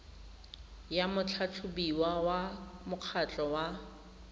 ya motlhatlhobiwa wa mokgatlho wa